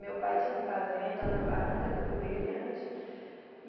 Meu pai tinha fazenda na barranca do Rio Brilhante.